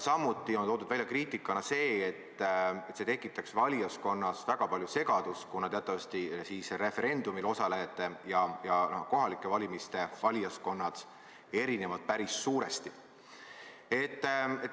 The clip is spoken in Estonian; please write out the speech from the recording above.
Samuti on toodud kriitikana välja seda, et see tekitaks valijaskonnas väga palju segadust, kuna teatavasti referendumil osalejad ja kohalike valimiste valijaskond erinevad päris suuresti.